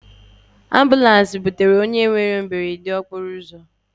Ambụlans butere onye nwere ihe mberede okporoụzọ.